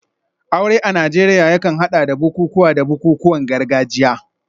Aure a Najeriya yakan hada da bukukuwa da bukukuwan gargajiya.